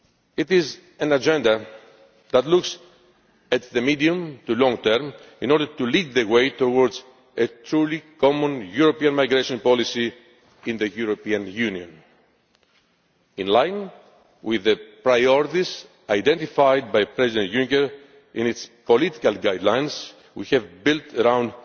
It is an agenda that looks at the medium to long term, in order to lead the way towards a truly common European migration policy in the European Union. In line with the priorities identified by President Juncker in his political guidelines we have built around